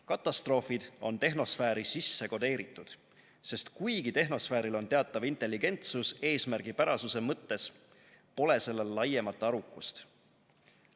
Katastroofid on tehnosfääri sisse kodeeritud, sest kuigi tehnosfääril on teatav intelligentsus , pole sellel laiemat arukust.